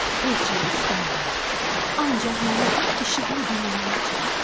Heç nə istəmirəm, ancaq məni işıqlı dünyaya çıxart.